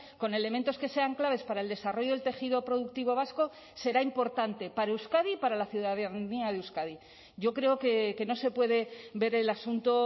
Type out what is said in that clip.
con elementos que sean claves para el desarrollo del tejido productivo vasco será importante para euskadi y para la ciudadanía de euskadi yo creo que no se puede ver el asunto